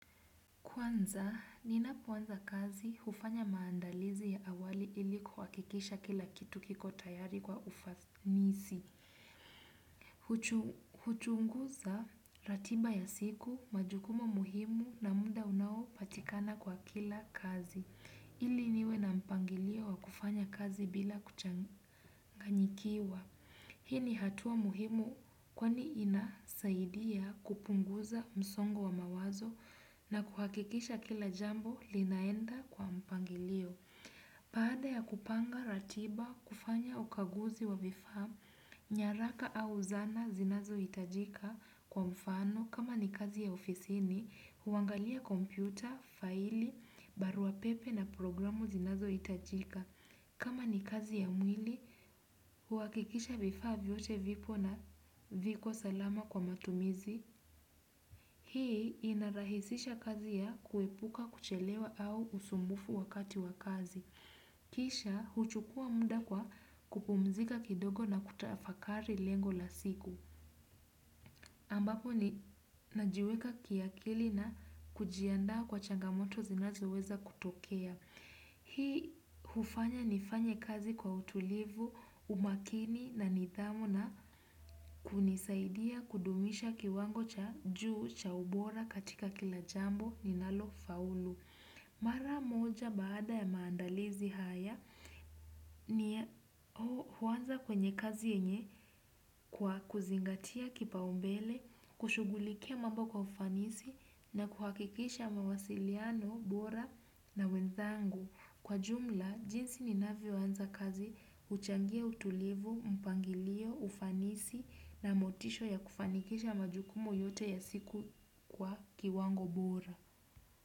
Kwanza, ninapoanza kazi hufanya maandalizi ya awali ili kuhakikisha kila kitu kiko tayari kwa ufanisi. Huchunguza ratiba ya siku majukumu muhimu na muda unaopatikana kwa kila kazi. Ili niwe na mpangilio wa kufanya kazi bila kuchanganyikiwa. Hii ni hatua muhimu kwani inasaidia kupunguza msongo wa mawazo na kuhakikisha kila jambo linaenda kwa mpangilio. Baada ya kupanga ratiba kufanya ukaguzi wa vifaa nyaraka au zana zinazohitajika kwa mfano kama ni kazi ya ofisini, huangalia kompyuta, faili, barua pepe na programu zinazohitajika. Kama ni kazi ya mwili, huhakikisha vifaa vyote vipo na viko salama kwa matumizi, hii inarahisisha kazi ya kuepuka kuchelewa au usumbufu wakati wa kazi. Kisha, huchukua muda kwa kupumzika kidogo na kutafakari lengo la siku. Ambapo ni najiweka kiakili na kujiandaa kwa changamoto zinazoweza kutokea. Hii hufanya nifanye kazi kwa utulivu, umakini na nidhamu na kunisaidia kudumisha kiwango cha juu cha ubora katika kila jambo ninalo faulu. Mara moja baada ya maandalizi haya ni huanza kwenye kazi yenye kwa kuzingatia kipaumbele, kushughulikia mambo kwa ufanisi na kuhakikisha mawasiliano, bora na wenzangu. Kwa jumla, jinsi ninavyoanza kazi huchangia utulivu, mpangilio, ufanisi na motisho ya kufanikisha majukumu yote ya siku kwa kiwango bora.